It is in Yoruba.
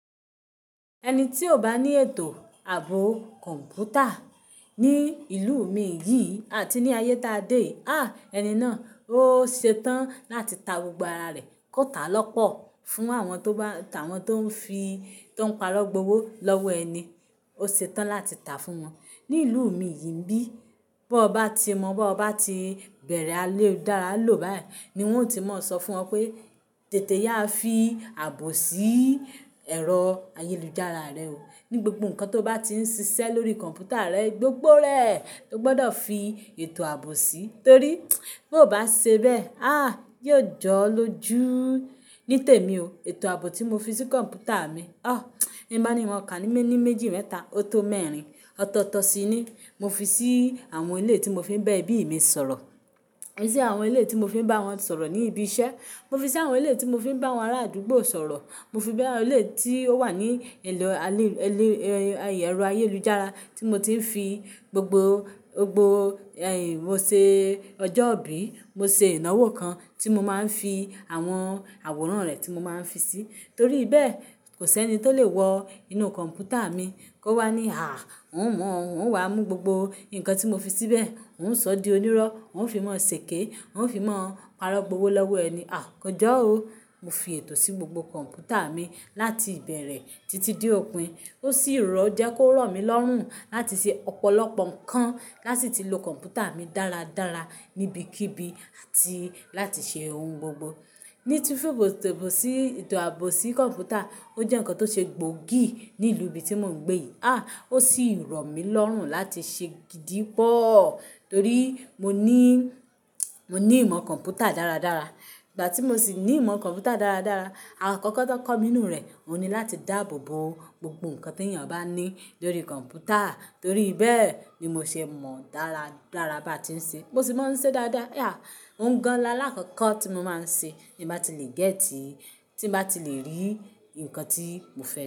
Ẹni tí ò bá ní ètò ààbò kọ̀ǹpútà ní ìlú mi yìí àti ní ayé táa dé yí, á ẹni náà ó ṣe tán láti ta gbogbo ara rẹ̀ kó ta lọ́pọ̀ fún àwọn tó bá, àwọn tó ń fi, tó ń parọ́ gbowó lọ́wọ́ ẹni, ó ṣe tán láti tàá fún wọn. Ní ìlú mi yìí nbí bọ bá ti mọ̀, bọ bá ti bẹ̀rẹ̀ ayélujára lò báyìí ni wọ́n o ti máa sọ fún ọ pé tètè ya fi ààbò sí ẹ̀rọ ayélujára rẹ o. Ní gbogbo nǹkan tó bá ti ń ṣiṣẹ́ lórí kọ̀ǹpútà rẹ, gbogbo rẹ̀, o gbọdọ̀ fi ètò ààbò sí, torí bí o ò bá ṣe bẹ́ẹ̀, á, yóò jọ́ọ́ lójú. Ní tèmi o, ètò ààbò tí mo fi sí kọ̀ǹpútà mi, o bi n báni n mọ́ kà ní mẹ́ní méjì mẹ́ta ó tó mẹ́rin ọ̀tọ̀ọ̀tọ̀ si ni. Mo fi sí àwọn eléyi tí mo fi ń bá ẹbí mi sọ̀rọ̀. Mo fi sí àwọn ilé tí mo fi ń bá wọn sọ̀rọ̀ ní ibi iṣẹ́. Mo fi sí àwọn ilé tí mo fi ń bá àwọn ará àdúgbò sọ̀rọ̀. Mo fi bẹ́ẹ̀ ilé tí ó wà ní ẹ̀lọ ayé, ẹ̀rọ ayélujára tí mo ti ń fi gbogbo, gbogbo ẹ̀, mo ṣe ọjọ́ ìbí, mo ṣe ìnáwó kan tí mo máa ń fi àwọn àwòrán rẹ̀ tí mo máa ń fi sí, torí bẹ́ẹ̀ kò sí ẹni tó le wọ inú kọ̀ǹpútà mi kó wá ní àá, òun mọ̀ ọ́n, òun wá mú gbogbo nǹkan tí mo fi síbẹ̀, òun ń sọ di onírọ́, òun fi máa sèké, òun fi máa parọ́ gbowó lọ́wọ́ ẹni. Àh, kò jọ́ o. Mo fi ètò sí gbogbo kọ̀ǹpútà mi láti ìbẹ̀rẹ̀ títí di òpin. Ó sì jẹ́ kó rọ̀ mí lọ́rùn láti ṣe ọ̀pọ̀lọpọ̀ nǹkan lási ti lo kọ̀ǹpútà mi dáradára níbikíbi àti láti ṣe ohun gbogbo. Ni tí fifi ètò ààbò sí kọ̀ǹpútà, ó jẹ́ nǹkan tó ṣe gbòógì ní ìlú ibi tí mò ń gbé yìí. Á, ó sì rọ̀ mí lọ́rùn láti ṣe gidi pọ́, torí mo ní, mo ní ìmọ̀ kọ̀ǹpútà dáradára. Ìgbà tí mo sì ní ìmọ̀ kọ̀ǹpútà dáradára, àkókò ti won kọ́ mi ninú rẹ̀, òun ni láti dáàbò bo gbogbo nǹkan tí ènìyàn bá ní lórí kọ̀ǹpútà, torí bẹ́ẹ̀ ni mo ṣe mọ̀ dáradára bá ti ń ṣe. Mo sì máa ń ṣe dáadáa. Ya, ohun kmgan aláàkọ́kọ́ tí mo máa ń ṣe bí n bá ti lè gẹ́tìí, tí n bá ti lè rí nǹkan tí mo fẹ́